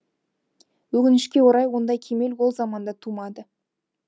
өкінішке орай ондай кемел ол заманда тумады